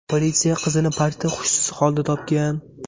Politsiya qizni parkda hushsiz holda topgan.